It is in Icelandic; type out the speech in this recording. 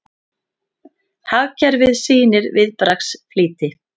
Hagkerfið sýnir viðbragðsflýti